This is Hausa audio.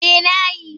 Eh na yi.